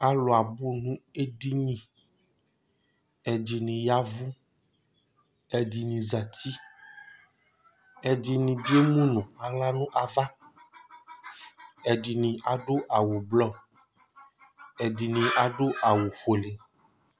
Alu abʋ nʋ edini Ɛdiní yavʋ, ɛdiní zɛti Ɛdiní bi emu nʋ aɣla nʋ ava Ɛdiní adu awu ɛblɔ Ɛdiní adu awu fʋele